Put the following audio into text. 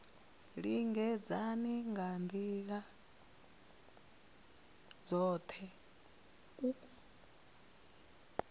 lingedza nga ndila dzothe u